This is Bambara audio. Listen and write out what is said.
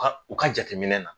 Ka u ka jateminɛ na